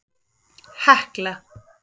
Hekla